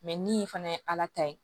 ni fana ye ala ta ye